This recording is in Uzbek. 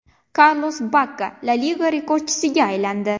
Karlos Bakka La Liga rekordchisiga aylandi.